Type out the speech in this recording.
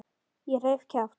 Ég reif kjaft.